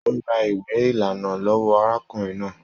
O rà ìwé ìlànà lọwọ arákùnrin náà.